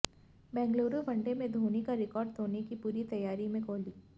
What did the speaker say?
Bengaluru one day में धोनी का record तोड़ने की पूरी तैयारी में कोहली